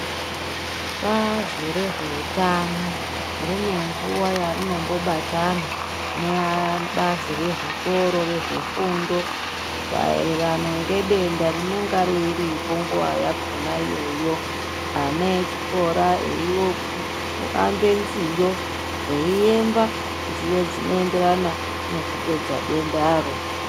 Bazi rezvehutano rinenguva rainombo batana neabazi rezvikoro rezvefundo maererano ngedenda rinonga riripo nguvayakona iyoyo. Ana echikora eioambe nziyo eiemba nziyo dzinoenderana nekupedza dendaro.